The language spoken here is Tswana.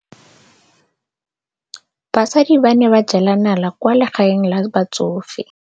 Basadi ba ne ba jela nala kwaa legaeng la batsofe.